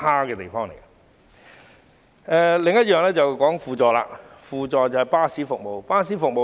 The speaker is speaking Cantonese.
我想談論的另一點是港鐵的輔助巴士服務。